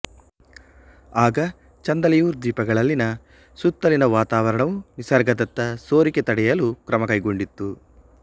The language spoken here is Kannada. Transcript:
ಆಗ ಚಂದೆಲೆಯುರ್ ದ್ವೀಪಗಳಲ್ಲಿನ ಸುತ್ತಲಿನ ವಾತಾವರಣವು ನಿಸರ್ಗದತ್ತ ಸೋರಿಕೆ ತಡೆಯಲು ಕ್ರಮ ಕೈಗೊಂಡಿತ್ತು